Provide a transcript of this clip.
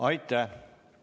Aitäh!